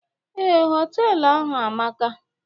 Ee, họtelu ahụ amaka